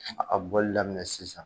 A bɔli daminɛ sisan.